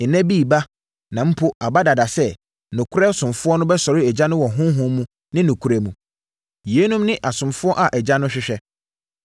Nna bi reba, na mpo aba dada sɛ, nokorɛ asomfoɔ bɛsɔre Agya no wɔ Honhom ne nokorɛ mu. Yeinom ne asomfoɔ a Agya no hwehwɛ.